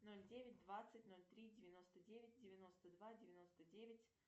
ноль девять двадцать ноль три девяносто девять девяносто два девяносто девять